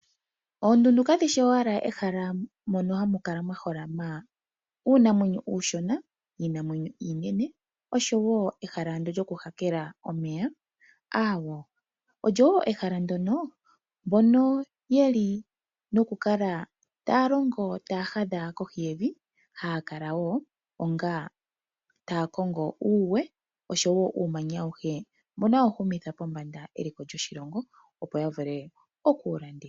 Oondundu kadhishi owala ehala mono hamu kala mwa holama uunamwenyo uushona, iinamwenyo iinene osho wo ehala ndyo lyoku hakela omeya, aawo. Olyo wo ehala ndyono mbono yeli noku kala taya longo taya hadha kohi yevi haya kala wo onga taya kongo uuwe osho wo uumanya awuhe mbono hawu humitha pombanda eliko lyoshilongo opo ya vule oku wu landitha.